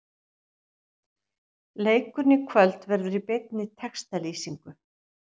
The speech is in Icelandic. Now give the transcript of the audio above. Leikurinn í kvöld verður í beinni textalýsingu.